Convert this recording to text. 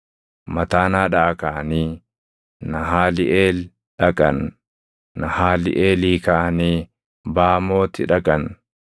Mataanaadhaa kaʼanii Nahaaliʼeel dhaqan; Nahaaliʼeelii kaʼanii Baamooti dhaqan;